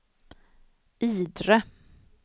Idre